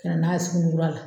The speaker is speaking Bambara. Ka na n'a ye suguni kura la